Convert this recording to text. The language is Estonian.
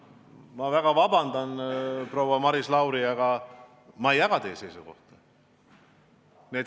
Ma väga vabandan, proua Maris Lauri, aga ma ei jaga teie seisukohta.